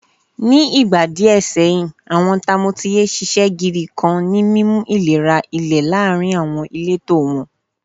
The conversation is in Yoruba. Ni igba diẹ sẹhin, awọn tamotiye ṣiṣẹ gidi kan ni mimu ilera ilera ile laarin awọn ileto wọn.